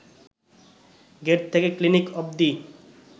gate থেকে clinic অব্দি